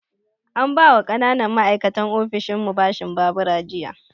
An ba wa ƙananan ma'aikatan ofishinmu bashin babura jiya